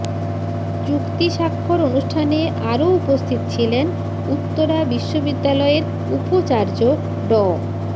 চুক্তি স্বাক্ষর অনুষ্ঠানে আরও উপস্থিত ছিলেন উত্তরা বিশ্ববিদ্যালয়ের উপচার্য ড